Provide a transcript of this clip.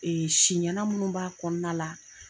Siɲɛna minnu b'a kɔnɔna la